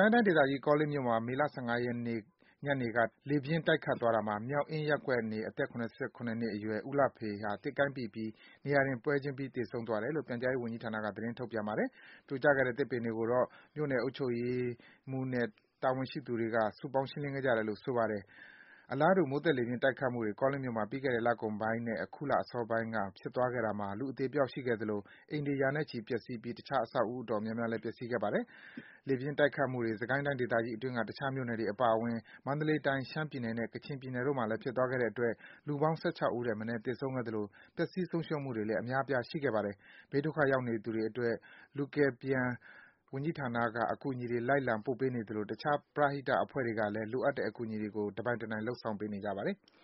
ိုင်းတိုင်းဒေသကြီး၊ ကောလင်းမြို့မှာ မေ ၁၅ ရက်နေ့ ညနေ ၃ နာရီခွဲအချိန်မှာ လေပြင်းတိုက်ခတ်သွားတာမှာ မြောက်အင်းရပ်ကွက်နေ အသက် ၇၇ နှစ်အရွယ် ဦးလှဖေဟာ သစ်ကိုင်းပိပြီး နေရာတင် ပွဲချင်းပြီး သေးဆုံးသွားတယ်လို့ ပြန်ကြားရေးဝန်ကြီးဌာနက သတင်းထုတ်ပြန်ပါတယ်။ ပြိုလဲပျက်စီးကျိုးကျခဲ့တဲ့ သစ်ပင်သစ်ကိုင်းတွေကို မြို့နယ်အုပ်ချုပ်ရေးမှူးနဲ့ ဌာနဆိုင်ရာများ၊ ဒေသခံ ပြည်သူများက စုပေါင်းရှင်းလင်းခဲ့တယ်လို့ ဆိုပါတယ်။ အလားတူ မိုးသက် လေပြင်းတိုက်ခတ်မှုတွေ ကောလင်းမြို့မှာ ပြီးခဲ့တဲ့ လကုန်ပိုင်းနဲ့ အခုလ အစောပိုင်းတွေမှာ ဖြစ်သွားခဲ့တဲ့အတွက် လူအသေအပျောက် ရှိခဲ့သလို အိမ်တွေ ရာနဲ့ချီ ပျက်ဆီးပြီး တခြား အဆောက်အဦး တော်များများလည်း ပျက်ဆီးခဲ့တာပါ။ လေပြင်းတိုက်ခတ်မှုတွေ စစ်ကိုင်းတိုင်းဒေသကြီးအတွင်းက တခြား မြို့နယ်တွေအပါအဝင် မန္တလေးတိုင်း၊ ရှမ်းပြည်နယ်နဲ့ ကချင်ပြည်နယ်တို့မှာလည်း ဖြစ်သွားခဲ့တဲ့အတွက် စုစုပေါင်း လူ ၁၆ ထက်မနည်း သေဆုံးခဲ့သလို ပျက်ဆီး ဆုံးရှုံးမှုတွေလည်း အများအပြား ရှိခဲ့ပါတယ်။ ဘေးဒုက္ခရောက်ခဲ့သူတွေအတွက် လူမှုဝန်ထမ်း၊ ကယ်ဆယ်ရေးနဲ့ ပြန်လည်နေရာချထားရေး ဝန်ကြီးဌာနက အကူအညီတွေ လိုက်လံ ပို့ပေးနေသလို တခြား ပရဟိတအဖွဲ့အစည်းတွေကလည်း လိုအပ်တဲ့ အကူအညီတွေကို တပိုင်တနိုင် လုပ်ဆောင်ပေးနေကြပါတယ်။